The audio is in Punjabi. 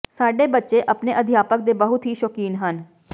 ਸਾਡੇ ਬੱਚੇ ਆਪਣੇ ਅਧਿਆਪਕ ਦੇ ਬਹੁਤ ਹੀ ਸ਼ੌਕੀਨ ਹਨ